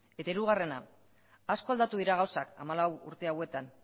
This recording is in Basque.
eta hirugarrena asko aldatu dira gauzak hamalau urte hauetan